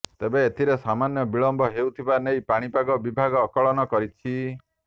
ତେବେ ଏଥିରେ ସମାନ୍ୟ ବିଳମ୍ବ ହେଉଥିବା ନେଇ ପାଣିପାଗ ବିଭାଗ ଆକଳନ କରିଛି